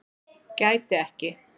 Gæti ekki